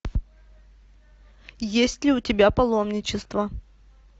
есть ли у тебя паломничество